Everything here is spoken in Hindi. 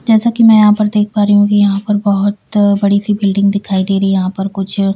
जैसा कि मैं यहां पर देख पा रही हूं कि यहां पर बहुत बड़ी सी बिल्डिंग दिखाई दे रही है यहां पर कुछ--